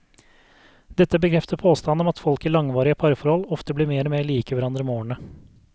Dette bekrefter påstanden om at folk i langvarige parforhold ofte blir mer og mer like hverandre med årene.